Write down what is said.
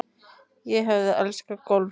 Ég hef elskað golf síðan.